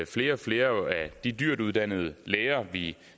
flere og flere af de dyrt uddannede læger vi